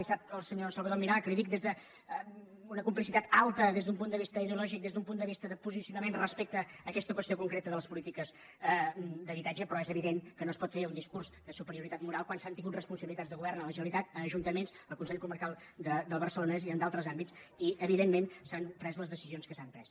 i sap el senyor salvador milà que li ho dic des d’una complicitat alta des d’un punt de vista ideològic des d’un punt de vista de posicionament respecte a aquesta qüestió concreta de les polítiques d’habitatge però és evident que no es pot fer un discurs de superioritat moral quan s’han tingut responsabilitats de govern a la generalitat a ajuntaments al consell comarcal del barcelonès i en d’altres àmbits i evidentment s’han pres les decisions que s’han pres